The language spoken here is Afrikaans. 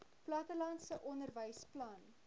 plattelandse onderwys plan